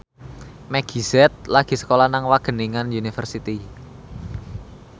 Meggie Z lagi sekolah nang Wageningen University